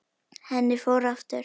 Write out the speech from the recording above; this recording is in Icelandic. Henni fór aftur.